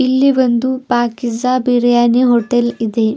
ಇಲ್ಲಿ ಒಂದು ಪಾಕೀಜ಼ಾ ಬಿರಿಯಾನಿ ಹೋಟೆಲ್ ಇದೆ.